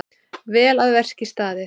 Vel að verki staðið!